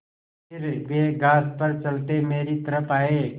फिर वे घास पर चलते मेरी तरफ़ आये